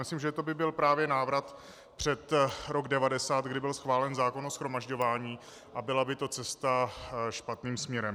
Myslím, že to by byl právě návrat před rok 1990, kdy byl schválen zákon o shromažďování, a byla by to cesta špatným směrem.